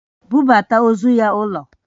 Bubata ozu ya ulo!